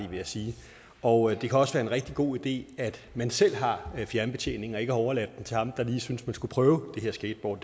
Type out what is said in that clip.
vil jeg sige og det kan også være en rigtig god idé at man selv har fjernbetjeningen og ikke har overladt den til ham der lige syntes man skulle prøve det her skateboard